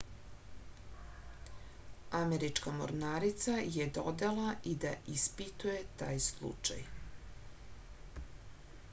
američka mornarica je dodala i da ispituje taj slučaj